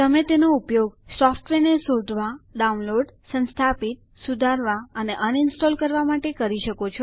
તમે તેનો ઉપયોગ સોફ્ટવેરને શોધવા માટે ડાઉનલોડ કરવા સંસ્થાપિત કરવા સુધારવા અથવા અનઇન્સ્ટોલ કરવા માટે કરી શકો છો